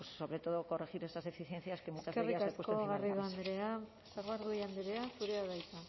sobretodo corregir estas deficiencias que muchas de ellas he puesto encima de la mesa eskerrik asko garrido andrea sagardui andrea zurea da hitza